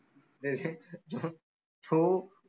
तो